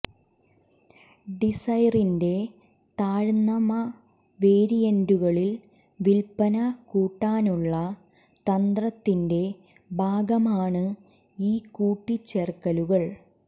ഡിസൈറിന്റെ താഴ്ന്നമ വേരിയന്റുകളിൽ വിൽപന കൂട്ടാനുള്ള തന്ത്രത്തിന്റെ ഭാഗമാണ് ഈ കൂട്ടിച്ചേരർക്കലുകൾ